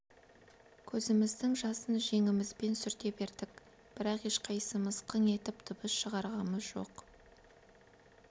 көзіміздің жасын жеңімізбен сүрте бердік бірақ ешқайсымыз қың етіп дыбыс шығарғамыз жоқ